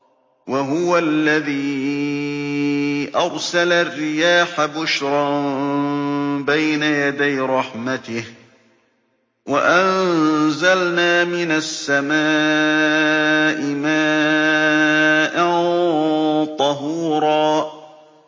وَهُوَ الَّذِي أَرْسَلَ الرِّيَاحَ بُشْرًا بَيْنَ يَدَيْ رَحْمَتِهِ ۚ وَأَنزَلْنَا مِنَ السَّمَاءِ مَاءً طَهُورًا